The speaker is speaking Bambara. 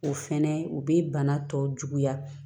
O fɛnɛ u be bana tɔ juguya